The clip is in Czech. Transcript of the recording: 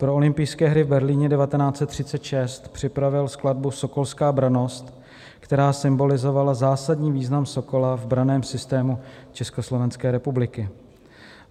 Pro olympijské hry v Berlíně 1936 připravil skladbu Sokolská brannost, která symbolizovala zásadní význam Sokola v branném systému Československé republiky.